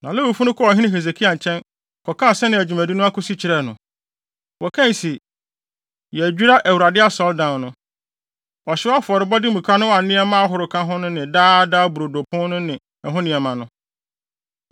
Na Lewifo no kɔɔ ɔhene Hesekia nkyɛn, kɔkaa sɛnea dwumadi no akosi kyerɛɛ no. Wɔkae se, “Yɛadwira Awurade Asɔredan no, ɔhyew afɔrebɔ afɔremuka no a nneɛma ahorow ka ho ne Daa Daa Brodo pon no ne ɛho nneɛma ho.